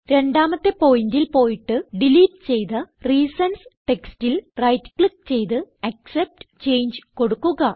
രണ്ടാമത്തെ പോയിന്റിൽ പോയിട്ട് ഡിലീറ്റ് ചെയ്ത റീസൻസ് ടെക്സ്റ്റിൽ റൈറ്റ് ക്ലിക്ക് ചെയ്ത് ആക്സെപ്റ്റ് ചങ്ങെ കൊടുക്കുക